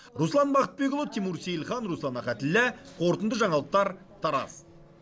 руслан бақытбекұлы тимур сейлхан руслан ахатіллә қорытынды жаңалықтар тараз